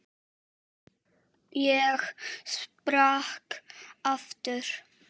Ég sprakk aftur.